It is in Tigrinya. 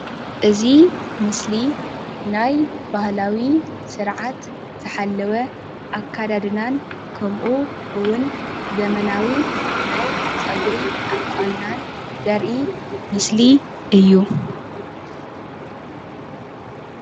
እዚ ምስሊ ናይ ባህላዊ ስርዓት ዝሓለወ ኣከዳድናን ከምኡ እውን ዘመናዊ ናይ ፀጉሪ ኣቆንናን ዘርኢ ምስሊ እዩ።